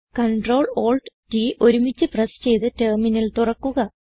Ctrl Alt T ഒരുമിച്ച് press ചെയ്ത് terminal തുറക്കുക